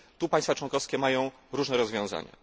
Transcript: Tu państwa członkowskie mają różne rozwiązania.